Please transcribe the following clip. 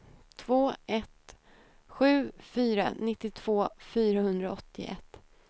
två ett sju fyra nittiotvå fyrahundraåttioett